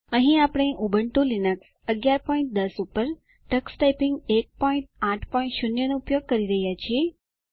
અહીં આપણે Ubuntu Linux 1110 પર ટક્સ ટાઈપીંગ 180 નો ઉપયોગ કરી રહ્યા છીએ